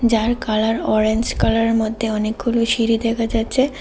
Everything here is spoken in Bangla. যার কালার অরেঞ্জ কালারের মধ্যে অনেকগুলো সিঁড়ি দেখা যাচ্ছে।